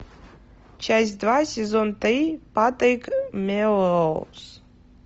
часть два сезон три патрик мелроуз